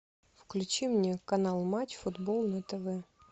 включи мне канал матч футбол на тв